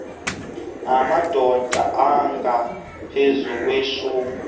namadod angaphezu kweshum